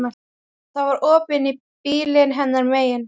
Það var opið inn í bílinn hennar megin.